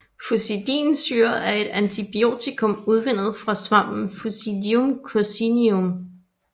Fusidinsyre er et antibiotikum udvundet fra svampen Fusidium Coccineum